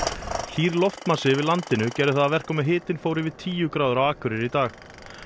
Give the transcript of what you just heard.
hlýr loftmassi yfir landinu gerði það að verkum að hitinn fór yfir tíu gráður á Akureyri í dag